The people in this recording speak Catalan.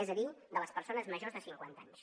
és a dir de les persones majors de cinquanta anys